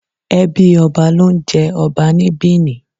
Ẹbí ọba ló ń jé ọba ní Bìní.